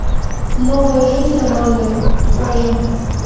новая жизнь аманды покажи